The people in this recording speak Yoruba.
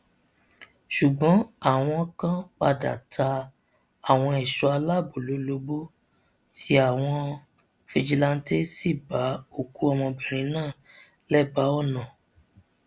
ṣùgbọn àwọn kan padà ta àwọn ẹṣọ aláàbọ lólobó tí àwọn fijilanté sì bá òkú ọmọbìnrin náà lẹbàá ọnà